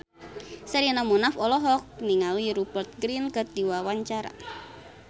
Sherina Munaf olohok ningali Rupert Grin keur diwawancara